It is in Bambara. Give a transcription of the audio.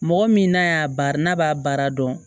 Mɔgɔ min n'a y'a baara n'a b'a baara dɔn